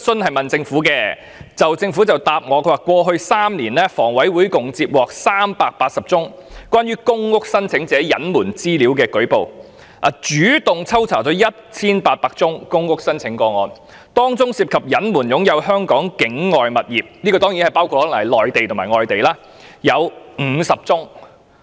據政府的書面答覆，"過去3年，房委會共接獲約380宗關於公屋申請者隱瞞資料的舉報，以及主動抽查了約 1,800 宗公屋申請個案，當中涉及隱瞞擁有香港境外物業的約有50宗"——這可能包括內地或外地物業。